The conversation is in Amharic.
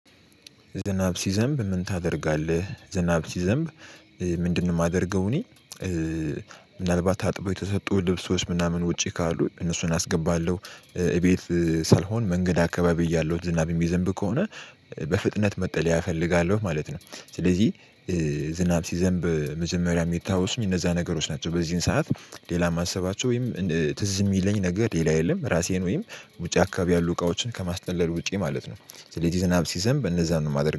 ዝናብ ሲዘንብ ምን ታደርጋለህ? ዝናብ ሲዘንብ ምንድነው ማደርገው? እኔ ምናልባት ታጥበው የተሰጡ ልብሶች ምናምን ውጪ ካሉ እነሱን አስገባለሁ እቤት ሳልሆን መንገድ አካባቢ እያለሁት ዝናብ ሚዘንብ ከሆነ በፍጥነት መጠለያ እፈልጋለሁ ማለት ነው። ስለዚህ ዝናብ ሲዘንብ መጀመሪያ ሚታወስ እነዛ ነገሮች ናቸው በዚህን ሰዓት ሌላ ማሰባቸው ወይም ትዝ ሚለኝ ነገር ሌላ የለም። ራሴን ወይም ውጪ አካባቢ ያሉ እቃዎችን ከማስጠለል ውጪ ማለት ነው። ስለዚህ ዝናብ ሲዘንብ እነዛን ነው የማደርገው